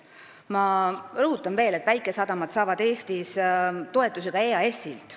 Ma rõhutan veel, et väikesadamad saavad Eestis toetusi ka EAS-ilt.